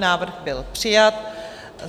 Návrh byl přijat.